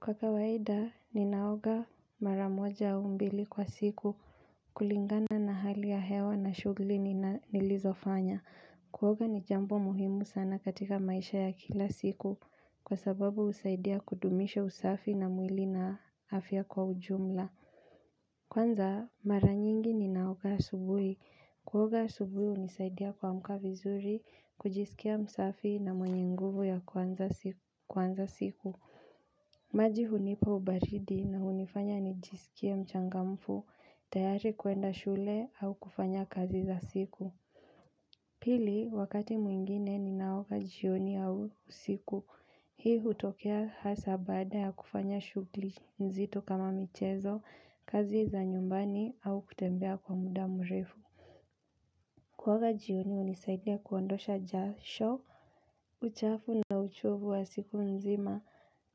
Kwa kawaida, ninaoga mara moja au mbili kwa siku kulingana na hali ya hewa na shughuli nilizofanya. Kuoga ni jambo muhimu sana katika maisha ya kila siku kwa sababu husaidia kudumisha usafi na mwili na afya kwa ujumla. Kwanza, mara nyingi ninaoga asubuhi. Kuoga asubuhi hunisaidia kuamka vizuri, kujisikia msafi na mwenye nguvu ya kuanza siku. Maji hunipa ubaridi na hunifanya nijisikie mchangamfu, tayari kwenda shule au kufanya kazi za siku Pili, wakati mwingine ninaoga jioni au usiku, hii hutokea hasa baada ya kufanya shughuli nzito kama michezo, kazi za nyumbani au kutembea kwa muda mrefu Kuoga jioni hunisaidia kuondosha jasho, uchafu na uchovu wa siku nzima,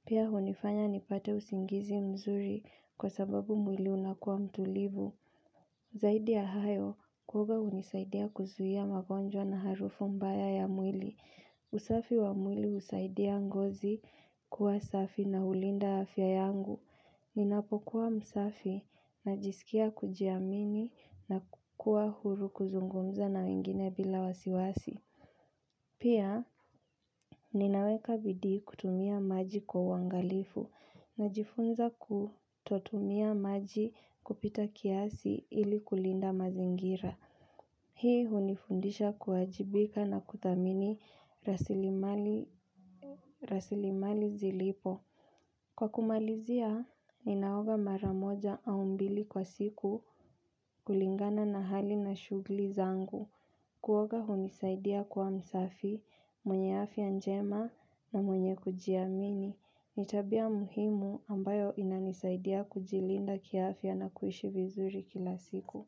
pia hunifanya nipate usingizi mzuri kwa sababu mwili unakua mtulivu. Zaidi ya hayo, kuoga hunisaidia kuzuia magonjwa na harufu mbaya ya mwili. Usafi wa mwili husaidia ngozi kuwa safi na hulinda afya yangu. Ninapokua msafi, najisikia kujiamini na kukua huru kuzungumza na wengine bila wasiwasi. Pia, ninaweka bidii kutumia maji kwa uangalifu, najifunza kutotumia maji kupita kiasi ili kulinda mazingira. Hii hunifundisha kuwajibika na kudhamini rasilimali zilipo. Kwa kumalizia, ninaoga mara moja au mbili kwa siku kulingana na hali na shughuli zangu. Kuoga hunisaidia kuwa msafi, mwenye afya njema na mwenye kujiamini. Ni tabia muhimu ambayo inanisaidia kujilinda kiafya na kuishi vizuri kila siku.